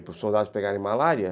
Para os soldados pegarem malária?